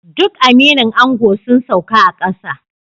Duk aminin ango sun sauka a kasa